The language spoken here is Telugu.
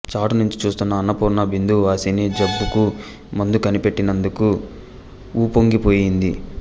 చాటు నుంచి చూస్తున్న అన్నపూర్ణ బిందువాసిని జబ్బుకు మందు కనిపెట్టినందుకు వుప్పొంగిపోయింది